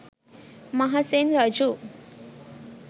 මහසෙන් රජු